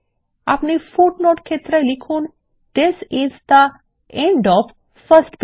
আপনি পাদটীকা ক্ষেত্রে লিখুন this is the end of first page